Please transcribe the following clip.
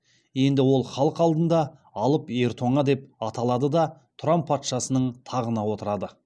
енді ол халық алдында алып ер тоңа деп аталады да тұран патшасының тағына отырады